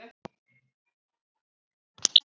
Elsku Iðunn okkar.